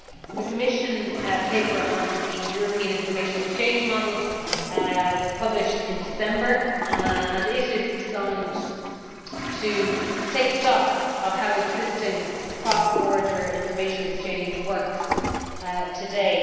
The Commission paper on the European information exchange model was published in December and is designed to take stock of how existing cross border information exchange works today.